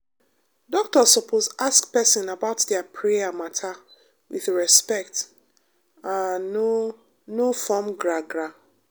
doctor suppose ask person about their prayer matter with respect and no no form gra-gra.